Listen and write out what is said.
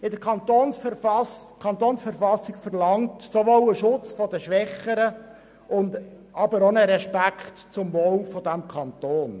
Die KV verlangt sowohl den Schutz der Schwächeren als auch einen Respekt gegenüber dem Wohl des Kantons.